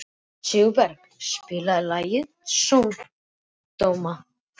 Sigurberg, spilaðu lagið „Sódóma“.